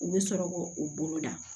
U bɛ sɔrɔ k'o u bolo da